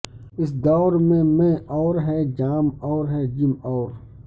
اس دور میں مے اور ہے جام اور ہے جم اور